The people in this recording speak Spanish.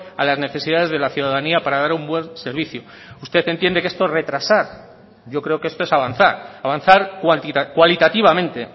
a las necesidades de la ciudadanía para dar un buen servicio usted entiende que esto es retrasar yo creo que esto es avanzar avanzar cualitativamente